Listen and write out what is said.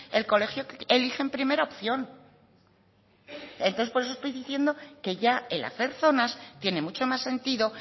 el colegio que eligen en primera opción entonces por eso estoy diciendo que ya el hacer zonas tiene mucho más sentido